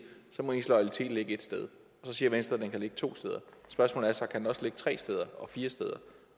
må ens loyalitet ligge ét sted så siger venstre at den kan ligge to steder spørgsmålet er så kan den også ligge tre steder og fire steder